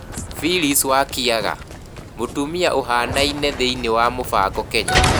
Phyllis Wakiaga: Mũtumia ũhaanaine thĩinĩ wa mũbango Kenya